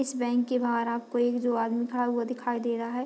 इस बैंक के बाहर आपको एक दो आदमी खड़ा हुआ दिखाई दे रहा है।